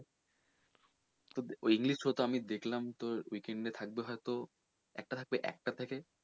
তো ওই english তো তোর দেখলাম weekend এ থাকবে ওই তোর একটা থাকবে একটার থেকে,